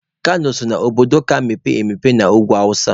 Kano so na obodo ka mepee emepe n'ugwu awụsa.